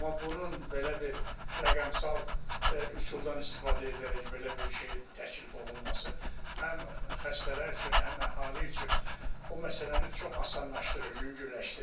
Amma bunun belə bir rəqəmsal üsuldan istifadə edərək belə bir şey təklif olunması həm xəstələr üçün, həm əhali üçün o məsələni çox asanlaşdırır, yüngülləşdirir.